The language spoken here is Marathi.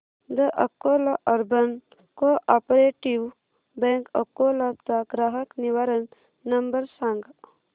the Akola urban cooperative bank Akola चा ग्राहक निवारण नंबर सांग